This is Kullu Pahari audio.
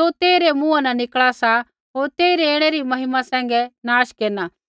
ज़ो तेइरै मुँहा न निकल़ा सा होर तेइरी ऐणै री महिमा सैंघै नाश केरना